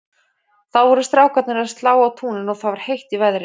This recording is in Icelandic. Þá voru strákarnir að slá á túninu og það var heitt í veðri.